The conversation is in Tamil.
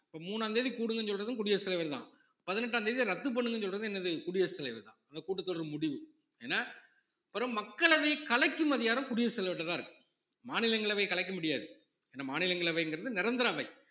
இப்ப மூணாந்தேதி கூடுங்கன்னு சொல்றதும் குடியரசுத் தலைவர்தான் பதினெட்டாம் தேதியை ரத்து பண்ணுங்கன்னு சொல்றது என்னது குடியரசுத் தலைவர்தான் அந்த கூட்டத் தொடர் முடிவு ஏன்னா அப்புறம் மக்களவை கலைக்கும் அதிகாரம் குடியரசு தலைவர்ட்ட தான் இருக்கு மாநிலங்களவை கலைக்க முடியாது ஏன்னா மாநிலங்களவைங்கிறது நிரந்தர அவை